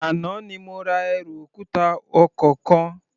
Àná ni mo ra ẹrù òkúta ọkọ̀ kan.